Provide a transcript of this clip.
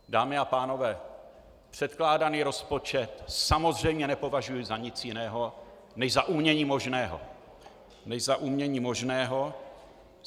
Dámy a pánové, předkládaný rozpočet samozřejmě nepovažuji za nic jiného než za umění možného.